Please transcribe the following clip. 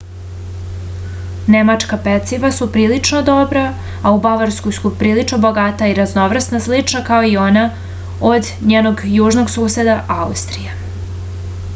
nemačka peciva su prilično dobra a u bavarskoj su prilično bogata i raznovrsna slično kao i ona od njenog južnog suseda austrije